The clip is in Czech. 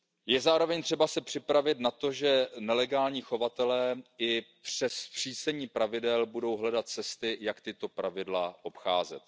kusy. Je zároveň třeba se připravit na to, že nelegální chovatelé i přes zpřísnění pravidel budou hledat cesty, jak tato pravidla obcházet.